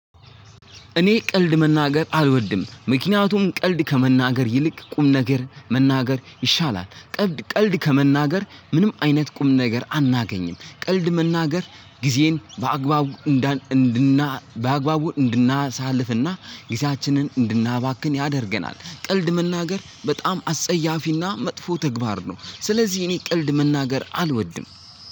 እኔ ቀልድ መናገር አልወድም፤ ምክንያቱም ቀልድ ከመናገር ይልቅ ቁም ነገር መናገር ይሻላል። ቀልድ ከመናገር ምንም አይነት ቁም ነገር አናገኝም። ቀልድ መናገር ጊዜን በአግባቡ እንድናሳልፍና ጊዜያችንን እንድናባክን ያደርገናል ቀልድ መናገር በጣም አስጸያፊና መጥፎ ተግባር ነው። ስለዚህ እኔ ቀልድ መናገር አልወድም።